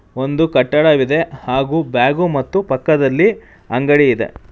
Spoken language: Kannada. ಒಂದು ಕಟ್ಟಡವಿದೆ ಹಾಗೂ ಬ್ಯಾಗು ಮತ್ತು ಪಕ್ಕದಲ್ಲಿ ಅಂಗಡಿ ಇದೆ.